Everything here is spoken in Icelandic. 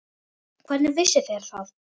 Hvernig vissuð þér það?